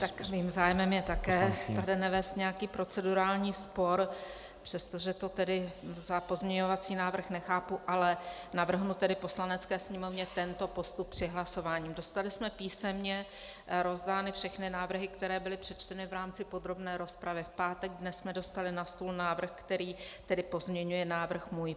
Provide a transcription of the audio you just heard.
Tak mým zájmem je také tady nevést nějaký procedurální spor, přestože to tedy za pozměňovací návrh nechápu, ale navrhnu tedy Poslanecké sněmovně tento postup při hlasování: dostali jsme písemně rozdány všechny návrhy, které byly přečteny v rámci podrobné rozpravy v pátek, dnes jsme dostali na stůl návrh, který tedy pozměňuje návrh můj.